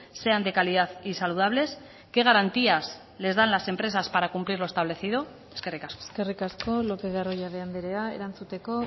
sean de calidad y saludables qué garantías les dan las empresas para cumplir lo establecido eskerrik asko eskerrik asko lopez de arroyabe andrea erantzuteko